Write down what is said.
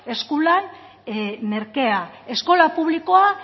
eskulan merkea eskola publikoa